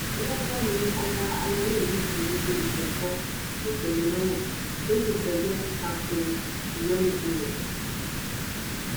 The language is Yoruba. lọgán ni ọba àlàyé yìí forí lé iléẹjọ kòtẹmílọrùn tó sì péjọ ta ko ìyọnipọ rẹ